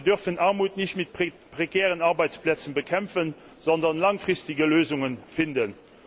Wir dürfen Armut nicht mit prekären Arbeitsplätzen bekämpfen, sondern wir müssen langfristige Lösungen finden.